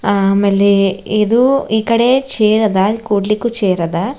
ಆಮೇಲೆ ಇದು ಈಕಡೆ ಚೇರದ ಕೂಡ್ಲಿಕು ಚೇರದ.